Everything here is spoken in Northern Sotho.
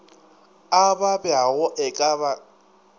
a babjago e ka ba